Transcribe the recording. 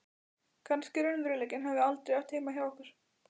Kannski raunveruleikinn hafi aldrei átt heima hjá okkur.